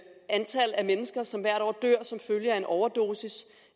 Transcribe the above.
antal mennesker som hvert år dør som følge af en overdosis